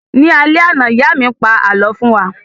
Ní alẹ́ àná, ìyá mí pa àlọ́ fún wa